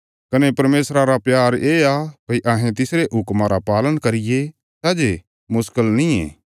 कने परमेशरा रा प्यार येआ भई अहें तिसरे हुक्मां रा पालन करिये सै जे मुश्कल नींये